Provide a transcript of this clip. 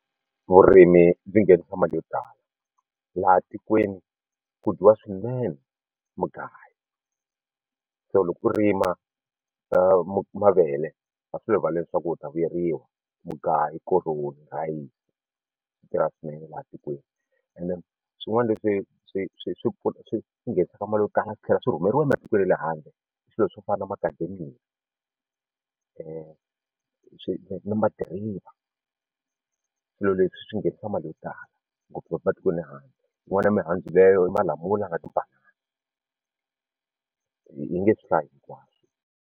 Vurimi byi nghenisa mali yo tala laha tikweni ku dyiwa swinene mugayo so loko u rima mavele swi le rivaleni swa ku u ta vuyeriwa mugayu koroni rhayisi swi tirha swinene laha tikweni and swin'wana leswi swi swi swi swi nghenisaka mali yo tala swi tlhela swi rhumeriwa ematikweni ya le handle i swilo swo fana na macadamia na madiriva swilo leswi swi nghenisa mali yo tala ngopfu matikweni ya le handle u vona ya mihandzu leyo malamula na tibanana ni nge swi hlayi hinkwaswo.